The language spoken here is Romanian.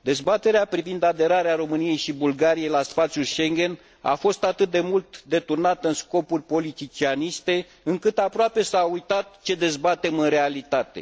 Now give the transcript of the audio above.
Dezbaterea privind aderarea României și Bulgariei la spațiul Schengen a fost atât de mult deturnată în scopuri politicianiste, încât aproape s a uitat ce dezbatem în realitate.